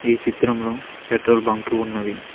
ఈ చిత్రంలో petrol bunk ఉన్నది.